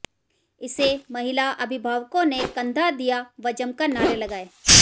इसे महिला अभिभावकों ने कंधा दिया व जमकर नारे लगाए